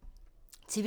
TV 2